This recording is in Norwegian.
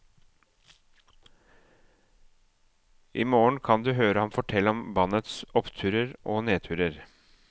I morgen kan du høre ham fortelle om bandets oppturer og nedturer.